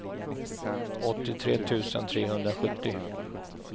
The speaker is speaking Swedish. åttiotre tusen trehundrasjuttio